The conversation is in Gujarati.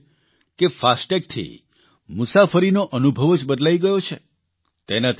તેમનું કહેવું છે કે ફાસ્ટેગ થી મુસાફરીનો અનુભવ જ બદલાઇ ગયો છે